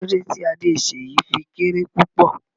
Kí lódẹ tí Adé Seyi fí kéré púpọ̀?